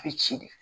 A bɛ ci de